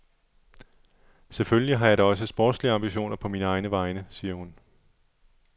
Selvfølgelig har jeg da også sportslige ambitioner på mine egne veje, siger hun.